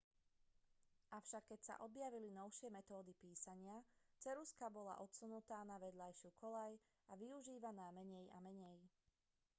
avšak keď sa objavili novšie metódy písania ceruzka bola odsunutá na vedľajšiu koľaj a využívaná menej a menej